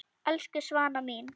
Elsku Svana mín.